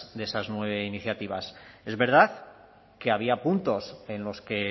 de esas nueve iniciativas es verdad que había puntos en los que